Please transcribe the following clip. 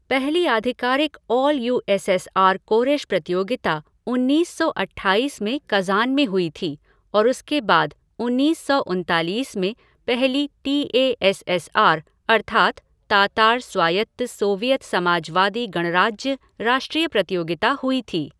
पहली आधिकारिक all U S S R कोरेश प्रतियोगिता उन्नीस सौ अट्ठाईस में कज़ान में हुई थी और उसके बाद उन्नीस सौ उनतालीस में पहली T A S S R अर्थात् तातार स्वायत्त सोवियत समाजवादी गणराज्य राष्ट्रीय प्रतियोगिता हुई थी।